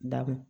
Dakun